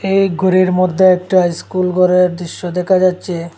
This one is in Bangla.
এই ঘরের মধ্যে একটা স্কুল ঘরের দৃশ্য দেখা যাচ্ছে।